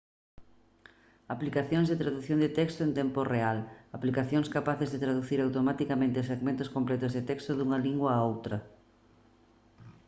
aplicacións de tradución de texto en tempo real aplicacións capaces de traducir automaticamente segmentos completos de texto dunha lingua a outra